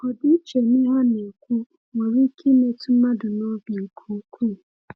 Ọdịiche n’ihe a na-ekwu nwere ike imetụ mmadụ n’obi nke ukwuu.